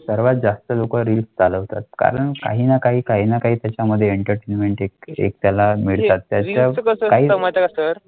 सर्वात जास्त लोका रील्स चालवतात कारण काही नाही काही नाही त्याच्यामध्ये एंटरटेनमेंट एक एक त्याला मिळतात.